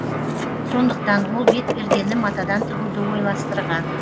сондықтан ол бетпердені матадан тігуді ойластырған